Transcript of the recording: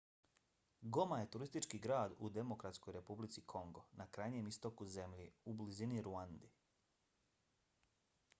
goma je turistički grad u demokratskoj republici kongo na krajnjem istoku zemlje u blizini ruande